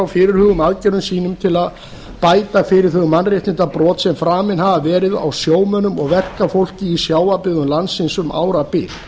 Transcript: fyrirhuguðum aðgerðum sínum til að bæta fyrir þau mannréttindabrot sem framin hafa verið á sjómönnum og verkafólki í sjávarbyggðum landsins um árabil